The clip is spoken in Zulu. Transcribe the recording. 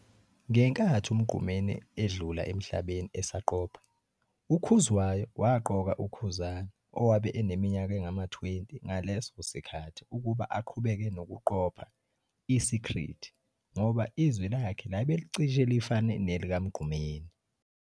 Ngenkathi uMgqumeni edlula emhlabeni esaqopha, uKhuzwayo waqoka uKhuzani owabe eneminyaka engama-20 ngaleso sikhathi ukuba aqhubeke nokuqopha "I-Secret" ngoba izwi lakhe labe licishe lifane nelikaMgqumeni.